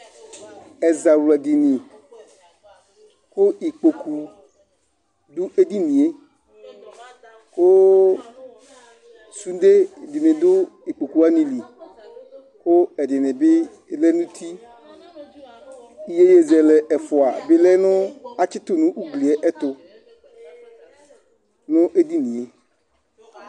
Ɛzawladínì ku ikpoku du edínìe, ku sude dini dù ikpokuwani li ,ku ɛdini bi lɛ nu uti, iyeyezɛlɛ ɛfua bi lɛ nu atsitu nu ugliɛ ayiɛtu nu edínìe